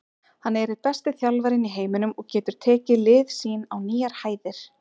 Hann er einn besti þjálfarinn í heiminum og getur tekið lið sín á nýjar hæðir.